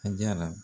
A jara